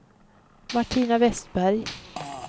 Martina Westberg